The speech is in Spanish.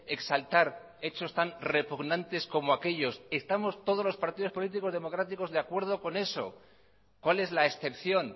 exaltar hechos tan repugnantes como aquellos estamos todos los partidos políticos democráticos de acuerdo con eso cuál es la excepción